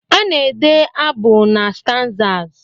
A na-ede abụ na stanzas